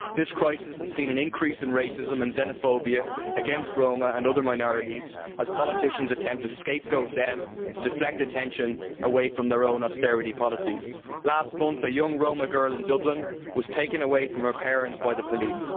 This crisis has seen an increase in racism and xenophobia against Roma and other minorities as politicians attempt to scapegoat them to deflect attention away from their own austerity policies. Last month a young Roma girl in Dublin was taken away from her parents by the police.